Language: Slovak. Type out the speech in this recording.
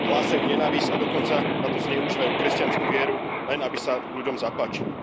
Hlásajú nenávisť a dokonca na to zneužívajú kresťanskú vieru, len aby sa ľudom zapáčili.